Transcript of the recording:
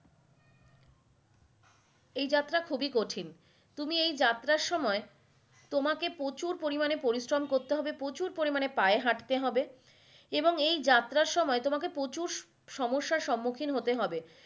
এই যাত্ৰা খুবই কঠিন তুমি এই যাত্ৰার সময় তোমাকে প্রচুর পরিমানে পরিশ্রম করতে হবে প্রচুর পরিমানে পায়ে হাঁটতে হবে এবং এই যাত্ৰার সময় তোমাকে প্রচুর সমস্যা সমুখীন হতে হবে।